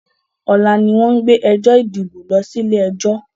Ọlá ni wọn ń gbé ẹjọ́ ìdìbò lọ sí ilé ẹjọ́